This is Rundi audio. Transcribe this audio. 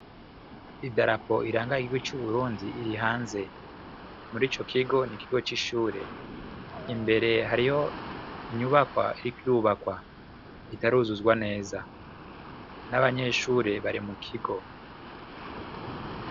Idarapo iranaga igihugu c'Uburundi iri hanze, muri ico kigo ni ikigo c'ishure , imbere hariyo inyubakwa iriko irubakawa itaruzuzwa neza n'abanyeshure bari mu kigo.